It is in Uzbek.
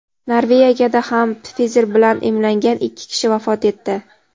Norvegiyada ham Pfizer bilan emlangan ikki kishi vafot etdi.